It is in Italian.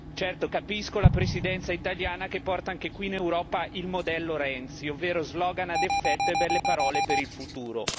Certo, capisco la Presidenza italiana che porta anche qui in Europa il modello Renzi, ovvero slogan a effetto e belle parole per il futuro.